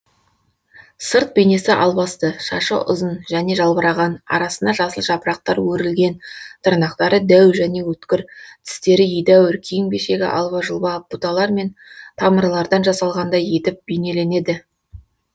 сырт бейнесі албасты шашы ұзын және жалбыраған арасына жасыл жапырақтар өрілген тырнақтары дәу және өткір тістері едәуір киім кешегі алба жұлба бұталар мен тамырлардан жасалғандай етіп бейнеленеді